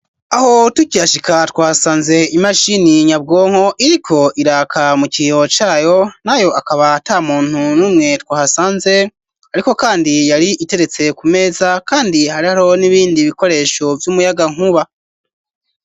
Aho tukihashika twasanze imashini nyabwonko iriko iraka mu kiyo cayo nayo akaba ata muntu numwe twahasanze ariko kandi yari iteretse ku meza kandi harihariho n'ibindi bikoresho vy'umuyaga nkuba.